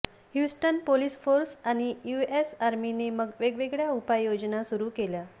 Houston police force आणि US आर्मीने मग वेगवेगळ्या उपाय योजना सुरु केला